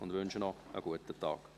Ich wünsche Ihnen einen guten Tag.